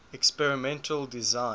experimental design